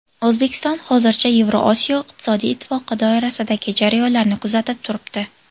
O‘zbekiston hozircha Yevrosiyo iqtisodiy ittifoqi doirasidagi jarayonlarni kuzatib turibdi.